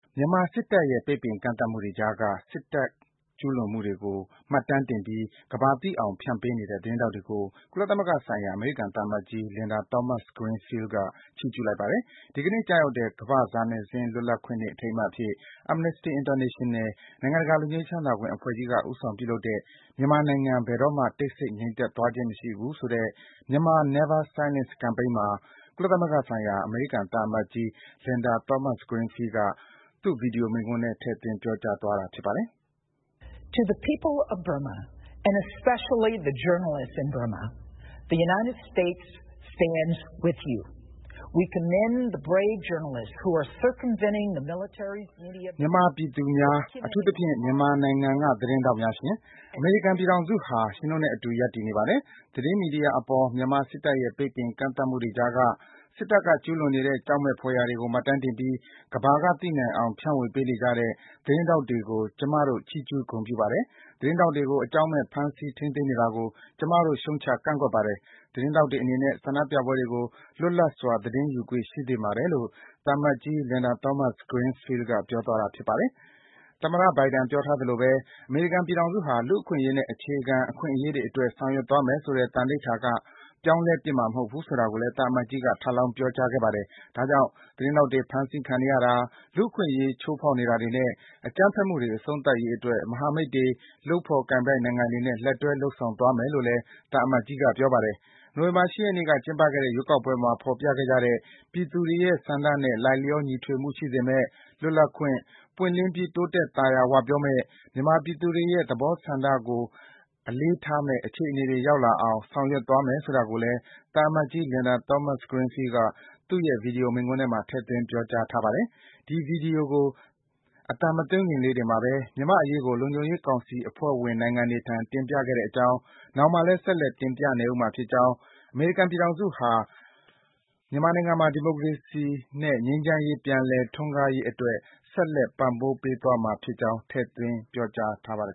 မြန်မာစစ်တပ်ရဲ့ ပိတ်ပင်ကန့်သတ်မှုတွေကြားက စစ်တပ်ကျူးလွန်မှုတွေကို မှတ်တမ်းတင်ပြီး ကမ္ဘာသိအောင်ဖြန့်ပေးနေတဲ့ သတင်းထောက်တွေကို ကုလသမဂ္ဂဆိုင်ရာ အမေရိကန်သံအမတ်ကြီး Linda Thomas-Greenfield က ချီးကျူးလိုက်ပါတယ်။ ဒီကနေ့ ကျရောက်တဲ့ ကမ္ဘာစာနယ်ဇင်းလွတ်လပ်ခွင့်နေ့ အထိမ်းအမှတ်အဖြစ် Amnesty International နိုင်ငံတကာ လွတ်ငြိမ်းချမ်းသာခွင့်အဖွဲ့ကြီးက ဦးဆောင်ပြုလုပ်တဲ့ မြန်မာနိုင်ငံ ဘယ်တော့မှာ တိတ်ဆိတ် ငြိမ်သက်သွားခြင်းမရှိဘူးဆိုတဲ့ “Myanmar Never Silence Campaign” မှာ ကုလသမဂ္ဂဆိုင်ရာ အမေရိကန်သံအမတ်ကြီး Linda Thomas-Greenfield က သူ့ ဗွီဒီယိုမိန့်ခွန်းထဲ ထည့်သွင်း ပြောသွားတာပါ။ “မြန်မာပြည်သူများ၊ အထူးသဖြင့် မြန်မာနိုင်ငံက သတင်းထောက်များရှင်၊ အမေရိကန်ပြည်ထောင်စုဟာ ရှင်တို့နဲ့အတူ ရပ်တည်နေပါတယ်။ သတင်းမီဒီယာအပေါ် မြန်မာစစ်တပ်ရဲ့ ပိတ်ပင်ကန့်သတ်မှုတွေကြားက စစ်တပ်က ကျူးလွန်နေတဲ့ ကြောက်မက်ဖွယ်ရာတွေကို မှတ်တမ်းတင်ပြီး ကမ္ဘာကသိနိုင်အောင် ဖြန့်ဝေပေးနေကြတဲ့ သတင်းထောက်တွေကို ကျမတို့ ချီးကျူးဂုဏ်ပြုပါတယ်။ သတင်းထောက်တွေကို အကြောင်းမဲ့ ဖမ်းဆီးထိန်းသိမ်းနေတာကို ကျမတို့ ရှုတ်ချကန့်ကွက်ပါတယ်။ သတင်းထောက်တွေအနေနဲ့ ဆန္ဒပြပွဲတွေကို လွတ်လပ်စွာ သတင်းယူခွင့် ရှိသင့်ပါတယ်” လို့ သံအမတ်ကြီး Linda Thomas-Greenfield က ပြောသွားတာပါ။ “သမ္မတ ဘိုင်ဒန် ပြောထားသလိုဘဲ အမေရိကန်ပြည်ထောင်စုဟာ လူ့အခွင့်အရေးနဲ့ အခြေခံအခွင့်အရေးတွေအတွက် ဆောင်ရွက်မယ်ဆိုတဲ့ သံဓိဌာန်က ပြောင်းလဲပစ်မှာမဟုတ်ဘူး”ဆိုတာကိုလည်း သံအမတ်ကြီးက ထပ်လောင်း ပြောကြားပါတယ်။ ဒါကြောင့် သတင်းထောက်တွေ ဖမ်းဆီးခံနေရတာ၊ လူ့အခွင့်အရေး ချိုးဖောက်နေတာတွေနဲ့ အကြမ်းဖက်မှုတွေ အဆုံးသတ်ရေးအတွက် မဟာမိတ်တွေ၊ လုပ်ဖော်ကိုင်ဘက်နိုင်ငံတွေနဲ့ လက်တွဲ လုပ်ဆောင်သွားမယ်လို့လည်း သံအမတ်ကြီးက ပြောပါတယ်။ နိုဝင်ဘာ ၈ ရက်နေ့က ကျင်းပခဲ့တဲ့ ရွေးကောက်ပွဲမှာ ဖော်ပြခဲ့ကြတဲ့ ပြည်သူတွေရဲ့ဆန္ဒနဲ့ လိုက်လျော ညီထွေမှုရှိစေမယ့် လွတ်လပ်၊ ပွင့်လင်းပြီး တိုးတက် သာယာဝပြောမယ့်၊ မြန်မာပြည်သူတွေရဲ့ ဆန္ဒသဘောထားကို လေးစားမယ့် အခြေအနေတွေ ရောက်လာအောင် ဆောင်ရွက်သွားမယ် ဆိုတာကိုလည်း သံအမတ်ကြီး Linda Thomas-Greenfield က သူ့ရဲ့ ဗွီဒီယို မိန့်ခွန်းထဲမှာ ထဲ့သွင်း ပြောကြားထားပါတယ်။ ဒီ ဗွီဒီယိုကို အသံမသွင်းခင်လေးတင်မှာဘဲ မြန်မာ့အရေးကို လုံခြုံရေးကောင်စီ အဖွဲ့ဝင်နိုင်ငံတွေထံ တင်ပြခဲ့ကြောင်း၊ နောင်မှာလည်း ဆက်လက် တင်ပြနေဦးမှာဖြစ်ကြောင်း၊ အမေရိကန်ပြည်ထောင်စုဟာ မြန်မာနိုင်ငံမှာ ဒီမိုကရေစီနဲ့ ငြိမ်းချမ်းရေး ပြန်လည် ထွန်းကားရေးအတွက် ဆက်လက် ပံ့ပိုးပေးသွားမှာဖြစ်ကြောင်း ထည့်သွင်း ပြောကြားထားပါတယ်